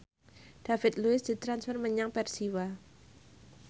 David Luiz ditransfer menyang Persiwa